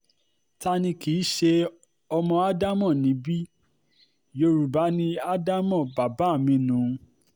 ta ni kì í ṣe ọmọ ádámò níbi yorùbá ni ádámò bàbá mi nù ún